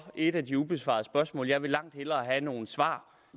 et af de ubesvarede spørgsmål jeg vil langt hellere have nogle svar